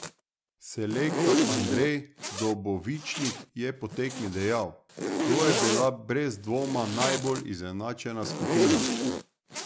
Selektor Andrej Dobovičnik je po tekmi dejal: "To je bila brez dvoma najbolj izenačena skupina.